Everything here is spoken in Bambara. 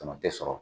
Tama tɛ sɔrɔ